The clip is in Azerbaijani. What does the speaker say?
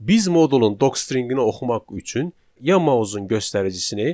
Biz modulun docstringini oxumaq üçün ya mausun göstəricisini